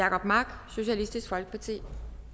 jacob mark socialistisk folkeparti